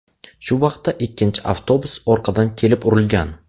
Shu vaqtda ikkinchi avtobus orqadan kelib urilgan.